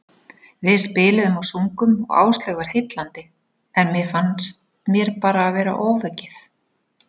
Við spiluðum og sungum og Áslaug var heillandi, en mér fannst mér bara vera ofaukið.